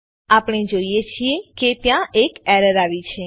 આપણે જોઈએ છીએ કે ત્યાં એક એરર આવી છે